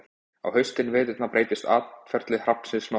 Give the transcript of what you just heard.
á haustin og veturna breytist atferli hrafnsins nokkuð